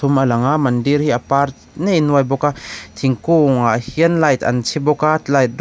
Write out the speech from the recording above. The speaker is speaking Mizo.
pathum a lang a mandir hi a par nei nuai bawk a thingkung ah hian light an chhi bawk a light rawng--